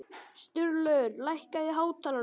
Sturlaugur, lækkaðu í hátalaranum.